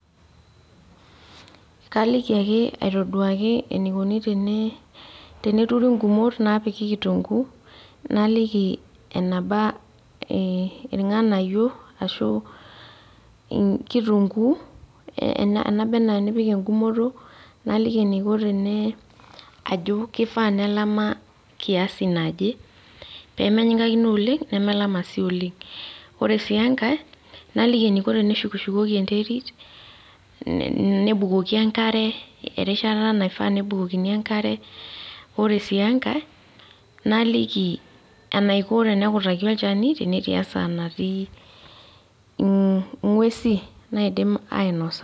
Kaliki ake atoduaki enikoni teneturi gumot napiki kitunkuu, naliki eneba irng'anayio ashu kitunkuu naba enaa nipik egumoto, naliki eniko tene ajo kifaa nelama kiasi naje, pemenyikakino oleng nemelama si oleng. Ore si enkae, naliki eniko teneshukushukoki enterit, nebukoki enkare, erishata naifaa nebukokini enkare, ore si enkae, naliki enaiko tenekutakini olchani, tenetii esaa natii ing'uesi naidim ainosa.